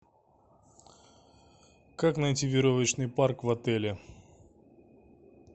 как найти веревочный парк в отеле